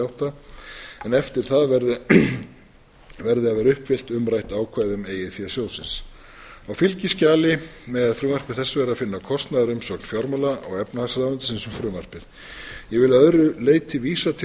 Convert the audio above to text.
átta en eftir það verði að vera uppfyllt ákvæði um eigið fé sjóðsins á fylgiskjali með frumvarpi þessu er að finna kostnaðarumsögn fjármála og efnahagsráðuneytisins um frumvarpið ég vil að öðru leyti til